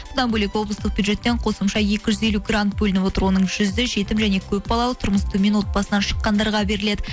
содан бөлек облыстық бюджеттен қосымша екі жүз елу грант бөлініп отыр оның жүзі жетім және көпбалалы тұрмысы төмен отбасынан шыққандарға беріледі